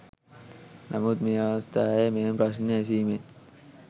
නමුත් මේ අවස්ථාවේ මෙම ප්‍රශ්නය ඇසීමෙන්